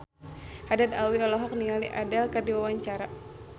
Haddad Alwi olohok ningali Adele keur diwawancara